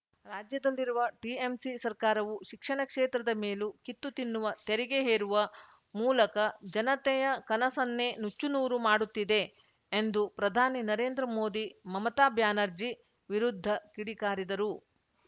ರಾಜ್ಯದಲ್ಲಿರುವ ಟಿಎಂಸಿ ಸರ್ಕಾರವು ಶಿಕ್ಷಣ ಕ್ಷೇತ್ರದ ಮೇಲೂ ಕಿತ್ತು ತಿನ್ನುವ ತೆರಿಗೆ ಹೇರುವ ಮೂಲಕ ಜನತೆಯ ಕನಸನ್ನೇ ನುಚ್ಚುನೂರು ಮಾಡುತ್ತಿದೆ ಎಂದು ಪ್ರಧಾನಿ ನರೇಂದ್ರ ಮೋದಿ ಮಮತಾ ಬ್ಯಾನರ್ಜಿ ವಿರುದ್ಧ ಕಿಡಿ ಕಾರಿದರು